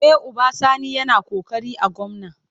E, Uba Sani yana ƙoƙari a gwamna.